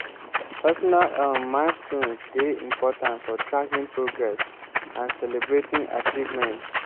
personal um milestones dey important for tracking progress and celebrating achievements.